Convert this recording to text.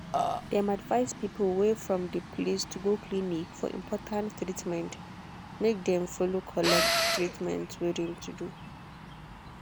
dem advice people wey from de place to go clinic for important treatment make dem follow collect treatment wey de to do.